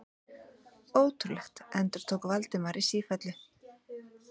Ótrúlegt endurtók Valdimar í sífellu.